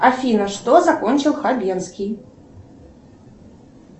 афина что закончил хабенский